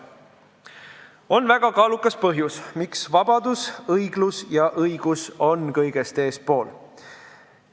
On väga kaalukas põhjus, miks vabadus, õiglus ja õigus on kõigest eespool.